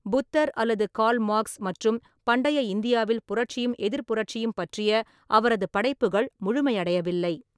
புத்தர் அல்லது Karl Marx மற்றும் "பண்டைய இந்தியாவில் புரட்சியும் எதிர்ப்புரட்சியும்" பற்றிய அவரது படைப்புகள் முழுமையடையவில்லை.